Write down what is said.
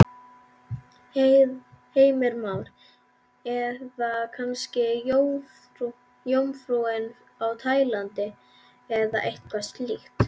Heimir Már: Eða kannski Jómfrúin á Tælandi eða eitthvað slíkt?